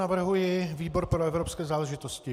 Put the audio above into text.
Navrhuji výbor pro evropské záležitosti.